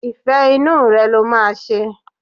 Ìfẹ́ inú rẹ̀ ló máa ṣe.